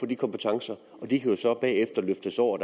de kompetencer og de kan jo så bagefter løftes over